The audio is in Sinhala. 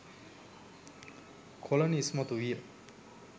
කොලනි ඉස්මතු විය